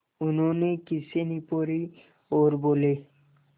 उन्होंने खीसें निपोरीं और बोले